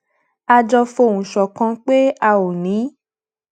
a jọ fohùn ṣòkan pé a ò ní